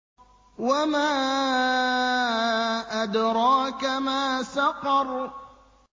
وَمَا أَدْرَاكَ مَا سَقَرُ